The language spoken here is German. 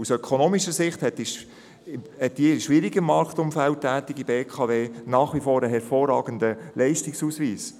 Aus ökonomischer Sicht hat die in einem schwierigen Marktumfeld tätige BKW nach wie vor einen hervorragenden Leistungsausweis.